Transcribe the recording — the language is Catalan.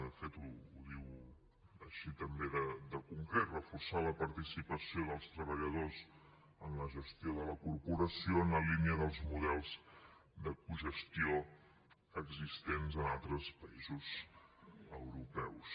de fet ho diu així també de concret reforçar la participació dels treballadors en la gestió de la corporació en la línia dels models de cogestió existents en altres països europeus